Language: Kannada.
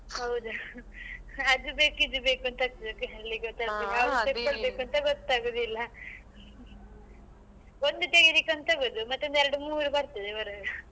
ಹೌದು ಅದ್ ಬೇಕು ಇದ್ ಬೇಕು ಅಂತ ಆಗ್ತದೆ ಆಗ್ತದೆ ಗೊತ್ತಾಗುದಿಲ್ಲ ಒಂದು ತೆಗಿಬೇಕ್ ಅಂತ ಹೋಗುದು ಮತ್ತೊಂದು ಎರಡ್ ಮೂರ್ ಬರ್ತದೆ ಬರುವಾಗ.